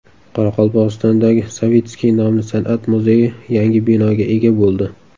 Qoraqalpog‘istondagi Savitskiy nomli san’at muzeyi yangi binoga ega bo‘ldi.